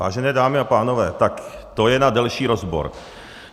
Vážené dámy a pánové, tak to je na delší rozbor.